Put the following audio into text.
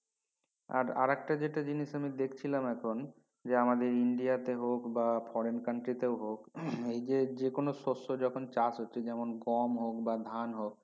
আর আরেক টা যেটা জিনিস আমি দেখছিলাম এখন যে আমাদের ইন্ডিয়াতে হক বা foreign country তে হক এই যে যেকোন শস্য চাষ হচ্ছে যেমন গোম হক বা ধান হক